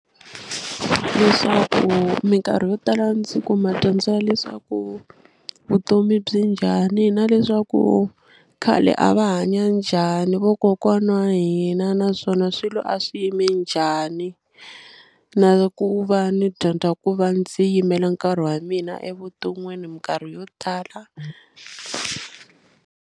Leswaku minkarhi yo tala ndzi kuma dyondzo ya leswaku vutomi byi njhani na leswaku khale a va hanya njhani vokokwana wa hina hina naswona swilo a swi yime njhani na ku va ni dyondza ku va ndzi yimela nkarhi wa mina evuton'wini minkarhi yo tala.